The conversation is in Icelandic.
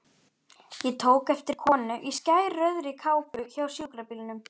Ég tók eftir konu í skærrauðri kápu hjá sjúkrabílnum.